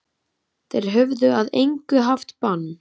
Þeir höfðu að engu haft bann